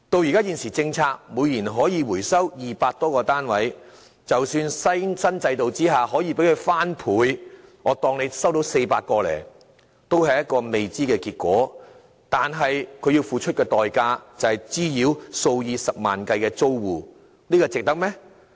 按現行政策，每年可回收200多個單位，但即使在新制度下可收回雙倍數目的單位——假設可以收回400個——也仍只是個未知數，但所要付出的代價，卻是滋擾數以十萬計的租戶，這是否值得呢？